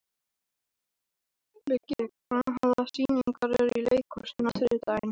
Viggi, hvaða sýningar eru í leikhúsinu á þriðjudaginn?